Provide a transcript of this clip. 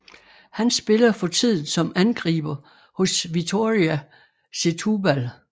Han spiller for tiden som angriber hos Vitória Setúbal